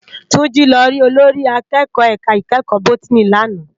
Tunji lò rí ólórì àkèkò èká ikèékò bótìní làná